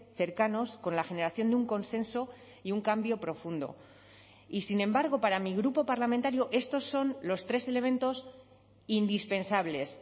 cercanos con la generación de un consenso y un cambio profundo y sin embargo para mi grupo parlamentario estos son los tres elementos indispensables